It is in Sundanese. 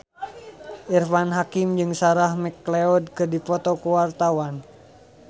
Irfan Hakim jeung Sarah McLeod keur dipoto ku wartawan